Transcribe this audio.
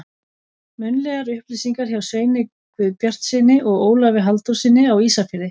Munnlegar upplýsingar hjá Sveini Guðbjartssyni og Ólafi Halldórssyni á Ísafirði.